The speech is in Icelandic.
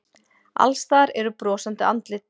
Alls staðar eru brosandi andlit.